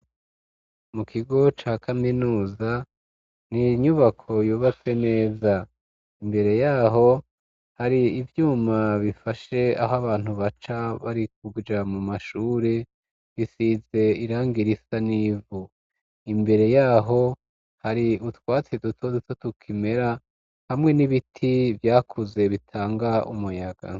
Mu kigo ca kaminuza ninyubako yubatwe neza, imbere yaho hari ivyuma bifashe aho abantu baca bari kuja mu mashure bisize irangi risa nivu imbere yaho hari utwatsi duto duto tukimera hamwe n'ibiti vyakuze bitanga umuyaga.